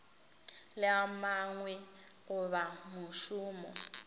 le a mangwe goba mošomo